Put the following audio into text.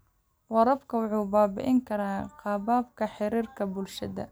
Waraabka wuxuu baabi'in karaa qaababka xiriirka bulshada.